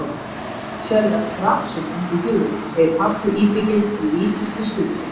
Þið eruð ekkert sérlega skrafsöm, ungu hjúin, segir pabbi íbygginn og lítur til stúlkunnar.